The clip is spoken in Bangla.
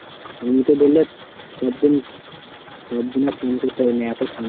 আমি তো ধরেনে সব দিন সব দিন আর স্নান করতে পারি না এতো ঠান্ডা।